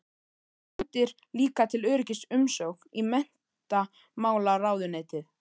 Sendir líka til öryggis umsókn í menntamálaráðuneytið.